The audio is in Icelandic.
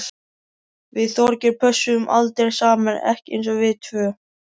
Við Þorgeir pössuðum aldrei saman, ekki eins og við tvö.